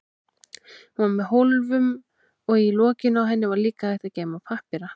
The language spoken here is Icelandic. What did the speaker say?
Hún var með hólfum og í lokinu á henni var líka hægt að geyma pappíra.